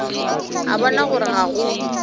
a bona gore ga go